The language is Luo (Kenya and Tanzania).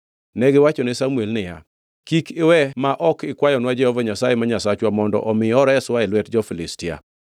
Negiwachone Samuel niya, “Kik iwe ma ok ikwayonwa Jehova Nyasaye ma Nyasachwa mondo omi oreswa e lwet jo-Filistia.”